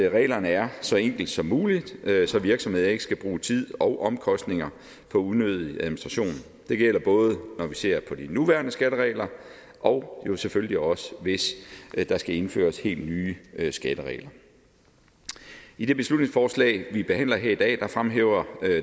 at reglerne er så enkle som muligt så virksomheder ikke skal bruge tid og omkostninger på unødig administration det gælder både når vi ser på de nuværende skatteregler og jo selvfølgelig også hvis der skal indføres helt nye skatteregler i det beslutningsforslag vi behandler her i dag fremhæver